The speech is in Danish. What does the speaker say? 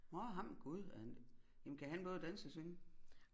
Nårh ham gud er han jamen kan han både danse og synge